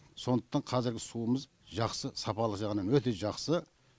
сондықтан қазіргі суымыз жақсы сапалы жағынан өте жақсы